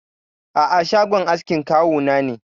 A'a, shagon askin kawu na ne.